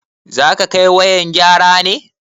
Zaka kai wayan gyara ne?